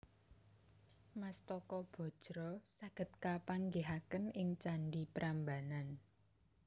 Mastaka Bajra saged kapanggihaken ing candhi Prambanan